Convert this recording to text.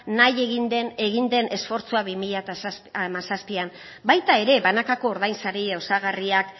nahi egin den egin den esfortzua bi mila hamazazpian baita ere banakako ordainsari osagarriak